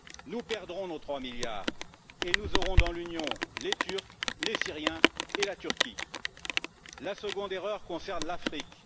Nous perdrons nos 3 milliards et nous aurons dans l'Union, les Turcs, les Syriens et la Turquie. La seconde erreur concerne l'Afrique.